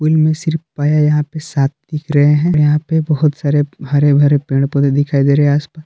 पुल में सिर्फ यहां पे साफ दिख रहे हैं यहां पे बहुत सारे हरे भरे पेड़ पौधे दिखाई दे रहे आस पा--